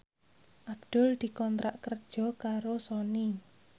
Abdul dikontrak kerja karo Sony